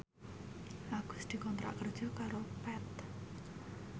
Agus dikontrak kerja karo Path